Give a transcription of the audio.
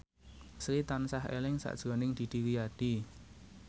Sri tansah eling sakjroning Didi Riyadi